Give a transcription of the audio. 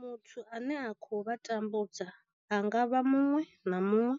Muthu ane a khou vha tambudza a nga vha muṅwe na muṅwe